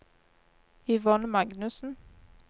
Yvonne Magnussen